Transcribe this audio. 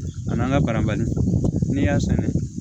A n'an ka barabali n'i y'a san dɛ